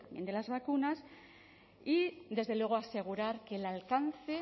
de las vacunas y desde luego asegurar que el alcance